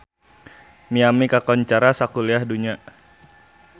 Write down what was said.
Miami kakoncara sakuliah dunya